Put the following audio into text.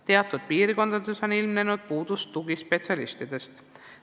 Teatud piirkondades jääb tugispetsialiste puudu.